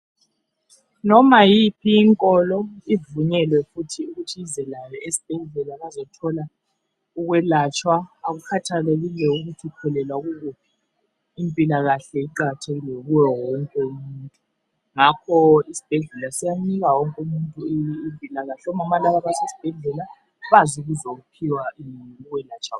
Noma yiphi inkolo ivunyelwefuthi ukuthi ize layo esibhedlela bazothola ukwelatshwa , akukhathalekile ukuthi ukholelwa kukuphi , impilakahle iqakathekile kuye wonke umuntu ngakho isibhedlela siyanika wonke umuntu impilakahle , omama laba basesibhedlela baze ukuzophiwa ukwelatshwa kwabo